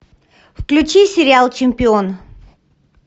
включи сериал чемпион